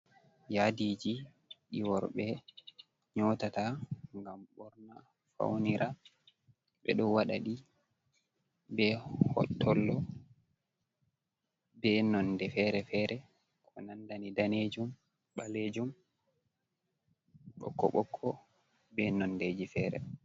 Yadiji ɗi worɓe nyotata ngam ɓorna faunira. Ɓeɗo waɗaɗi be hotollo be nonde fere-fere ko nandani danejum, ɓalejum, ɓokko-ɓokko be nondeji fere.